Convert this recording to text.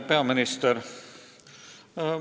Peaminister!